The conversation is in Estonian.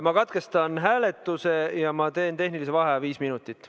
Ma katkestan hääletuse ja teen tehnilise vaheaja viis minutit.